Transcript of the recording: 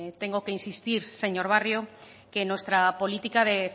tengo que insistir señor barrio que nuestra política de